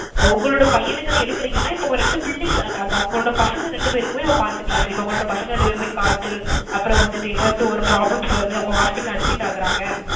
உங்களோட பையனுக்கு அது எடுக்குறீங்கனா இப்ப உங்க ரெண்டு ~ அந்த அந்த அவங்களோட பசங்க ரெண்டு பேருக்குமே பாத்துக்கலாம் sir. இப்ப அவங்க பசங்க ரெண்டு பேருக்குமே காச்சல், அப்பறம் வந்திட்டு ஏதாச்சும் ஒரு problems வருது அவங்க hospital admit ஆகுறாங்க